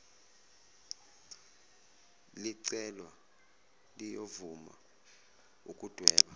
licelwa liyovuma ukudweba